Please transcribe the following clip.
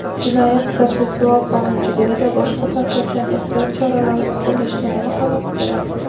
Jinoyat-protsessual qonunchiligida boshqa ta’sirchan ehtiyot choralarini qo‘llashga nima xalaqit beradi?.